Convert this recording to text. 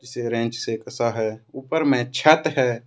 से कसा है ऊपर में छत है।